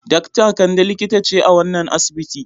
Dakta Kande likita ce a wannan asibiti.